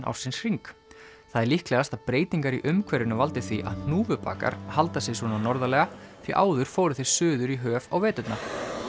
ársins hring það er líklegast að breytingar í umhverfinu valdi því að hnúfubakar halda sig svona norðarlega því áður fóru þeir suður í höf á veturna